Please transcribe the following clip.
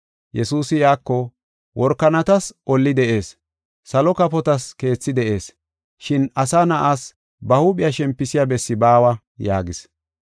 Yesuusi iyako “Workanatas olli de7ees, salo kafotas keethi de7ees. Shin Asa Na7aas ba huuphiya shempisiya bessi baawa” yaagis.